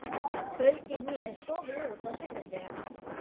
kvöldi né sofið út á sunnudögum.